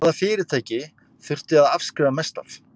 Hvaða fyrirtæki þurfti að afskrifa mest af?